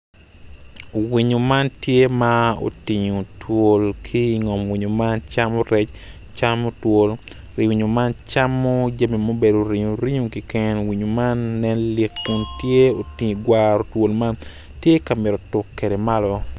Winyo man tye ma otingo twol ki ingom winyo man camo rec, camo twol winyo man camo jami ma obedo ringo ringo keken winyo man nen lik kun tye okwaro twol man tye ka mito tuk kwede malo.